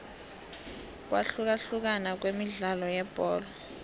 ukwahlukahlukana kwemidlalo yebholo